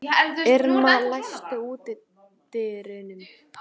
Irma, læstu útidyrunum.